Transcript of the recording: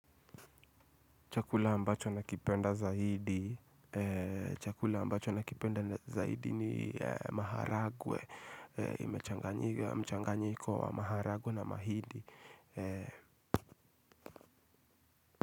Chakula ambacho nakipenda zaidi. Chakula ambacho nakipenda zaidi ni maharagwe. Mchanganyiko wa maharagwe na mahindi.